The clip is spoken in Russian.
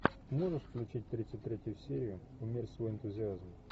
можешь включить тридцать третью серию умерь свой энтузиазм